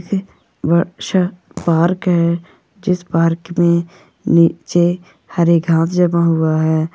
बाहर का है पार्क में नीचे हरे घास जमा हुआ है।